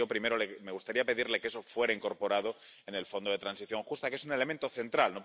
Así que, en primer lugar, me gustaría pedirle que eso fuera incorporado al Fondo de Transición Justa, que es un elemento central.